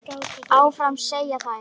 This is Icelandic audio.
Áfram, segja þær.